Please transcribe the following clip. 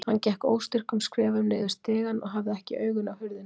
Hann gekk óstyrkum skrefum niður stigann og hafði ekki augun af hurðinni.